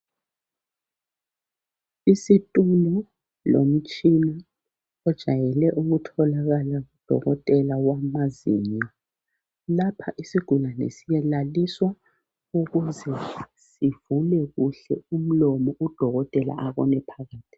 Isitulo lomtshina ojayele ukutholakala kudokotela wamazinyo. Lapha isigulane siyalaliswa ukuze sivule kuhle umlomo udokotela abone phakathi.